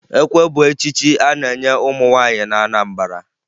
Ekwe bụ echichi a na-enye ụmụ nwaanyị na Anambara